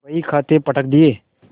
बहीखाते पटक दिये